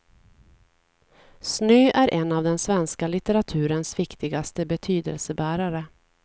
Snö är en av den svenska litteraturens viktigaste betydelsebärare.